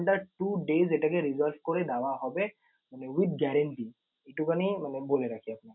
under two days এটাকে resolve করে দেওয়া হবে মানে with guarantee একটুখানি মানে বলে রাখি আপনাকে।